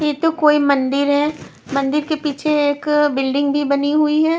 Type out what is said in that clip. ये तो कोई मंदिर है मंदिर के पीछे एक बिल्डिंग भी बनी हुई है।